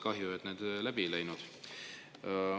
Kahju, et need läbi ei läinud.